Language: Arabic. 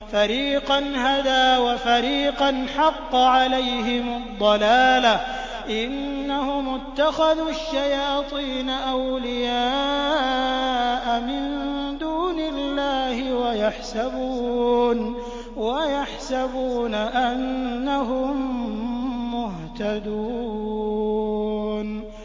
فَرِيقًا هَدَىٰ وَفَرِيقًا حَقَّ عَلَيْهِمُ الضَّلَالَةُ ۗ إِنَّهُمُ اتَّخَذُوا الشَّيَاطِينَ أَوْلِيَاءَ مِن دُونِ اللَّهِ وَيَحْسَبُونَ أَنَّهُم مُّهْتَدُونَ